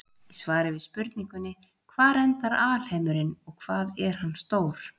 Í svari við spurningunni Hvar endar alheimurinn og hvað er hann stór?